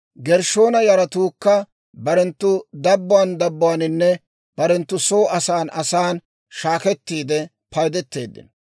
Gershshoona yaratuukka barenttu dabbuwaan dabbuwaaninne barenttu soo asan asan shaakettiide paydeteeddino.